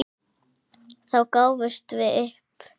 Þá gáfumst við upp.